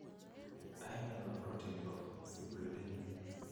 Aeng'e nebo protinik koo fibrillin